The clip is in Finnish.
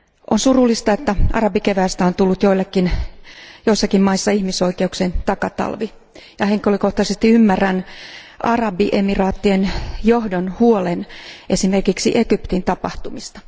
On surullista, että arabikeväästä on tullut joillekin, joissakin maissa ihmisoikeuksien takatalvi, ja henkilökohtaisesti ymmärrän Arabiemiraattien johdon huolen esimerkiksi Egyptin tapahtumista.